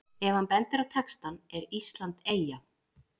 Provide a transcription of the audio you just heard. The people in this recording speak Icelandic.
Ef hann bendir á textann ER ÍSLAND EYJA?